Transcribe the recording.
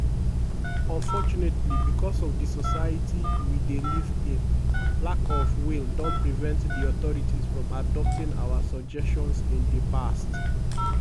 "unfortunately becos of di society we dey live in lack of will don prevent di authorities from adopting our suggestions in di past.